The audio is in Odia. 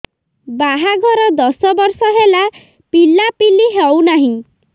ବାହାଘର ଦଶ ବର୍ଷ ହେଲା ପିଲାପିଲି ହଉନାହି